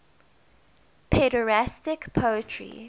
pederastic poetry